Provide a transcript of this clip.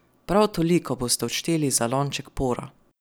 Prav toliko boste odšteli za lonček pora.